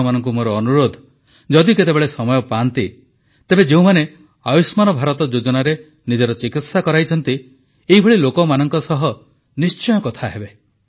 ଆପଣମାନଙ୍କୁ ମୋର ଅନୁରୋଧ ଯଦି କେତେବେଳେ ସମୟ ପାଆନ୍ତି ତେବେ ଯେଉଁମାନେ ଆୟୁଷ୍ମାନ ଭାରତ ଯୋଜନାରେ ନିଜର ଚିକିତ୍ସା କରାଇଛନ୍ତି ଏହିଭଳି ଲୋକମାନଙ୍କ ସହ ନିଶ୍ଚୟ କଥା ହେବେ